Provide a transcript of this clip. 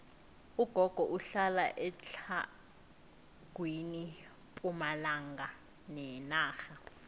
ugogo uhlala etlhagwini pumalanga yenarha